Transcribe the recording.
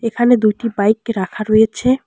এখানে দুইটি বাইক রাখা রয়েছে।